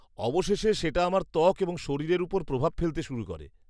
-অবশেষে সেটা আমার ত্বক এবং শরীরের ওপর প্রভাব ফেলতে শুরু করে।